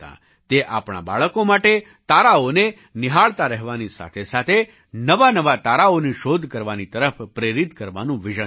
તે આપણાં બાળકો માટે તારાઓને નિહાળતા રહેવાની સાથેસાથે નવાનવા તારાઓની શોધ કરવાની તરફ પ્રેરિત કરવાનું વિઝન છે